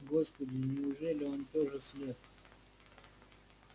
господи неужели он тоже слеп